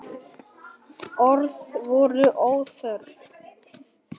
Orð voru óþörf.